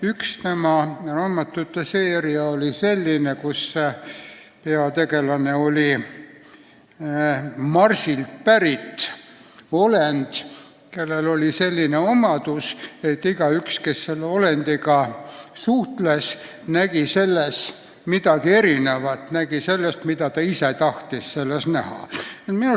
Üks tema juttude seeria oli selline, kus peategelane oli Marsilt pärit olend, kellel oli selline omadus, et igaüks, kes temaga suhtles, nägi temas midagi erinevat, nimelt seda, mida ta ise näha tahtis.